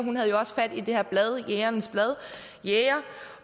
havde jo også fat i det her blad jægernes blad jæger